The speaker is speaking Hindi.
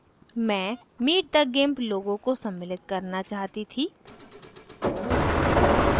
मैं meet the gimp logo logo को सम्मिलित करना चाहती थी